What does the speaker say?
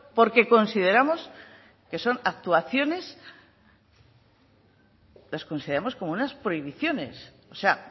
porque consideramos que son actuaciones las consideramos como unas prohibiciones o sea